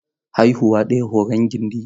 Haihuwa ɗaya horon gindi.